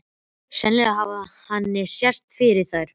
Sennilega hafði henni sést yfir þær.